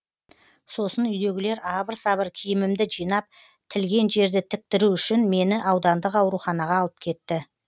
сосын үйдегілер абыр сабыр киімімді жинап тілген жерді тіктіру үшін мені аудандық ауруханаға алып кетті